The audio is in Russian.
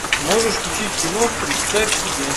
можешь включить кино представь себе